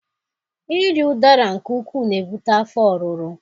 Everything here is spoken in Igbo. Iri Udara nke ukwuu na-ebute afọ ọrụrụ.